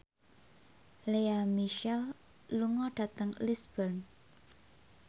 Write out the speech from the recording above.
Lea Michele lunga dhateng Lisburn